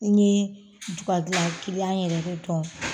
Ni ne jugadilan yɛrɛ de dɔn